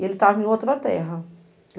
E ele estava em outra terra.